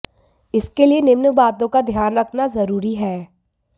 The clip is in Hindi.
इसके लिए निम्न बातों का ध्यान रखना जरूरी है